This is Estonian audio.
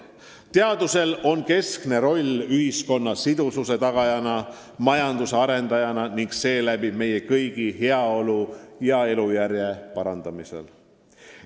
Teadusel on keskne roll ühiskonna sidususe tagajana, majanduse arendajana ning seeläbi meie kõigi heaolu ja elujärje parandajana.